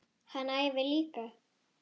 Hann æfir líka.